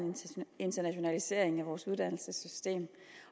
internationalisering af vores uddannelsessystem